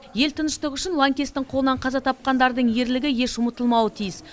ел тыныштығы үшін лаңкестің қолынан қаза тапқандардың ерлігі еш ұмытылмауы тиіс